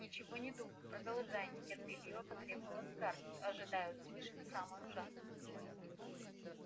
ничего не думаю продолжай нетерпеливо потребовала скарлетт ожидая услышать самое ужасное